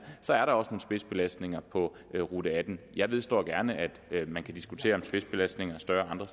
så er der også spidsbelastninger på rute attende jeg vedgår gerne at man kan diskutere om spidsbelastningen er større andre